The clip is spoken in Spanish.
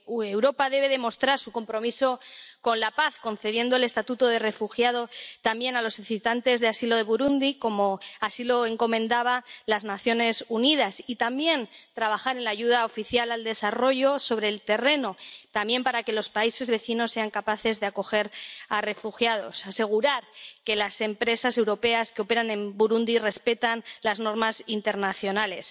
Europa debe demostrar su compromiso con la paz, concediendo el estatuto de refugiado también a los solicitantes de asilo de Burundi, como lo recomendaban las Naciones Unidas, y, también, trabajar en la ayuda oficial al desarrollo sobre el terreno, también para que los países vecinos sean capaces de acoger a refugiados, y asegurar que las empresas europeas que operan en Burundi respetan las normas internacionales.